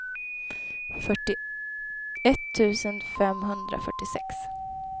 fyrtioett tusen femhundrafyrtiosex